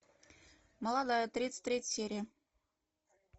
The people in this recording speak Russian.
молодая тридцать третья серия